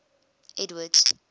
edward's